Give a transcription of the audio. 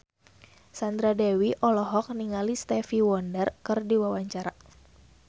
Sandra Dewi olohok ningali Stevie Wonder keur diwawancara